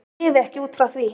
Ég lifi ekki út frá því.